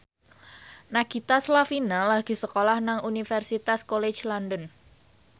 Nagita Slavina lagi sekolah nang Universitas College London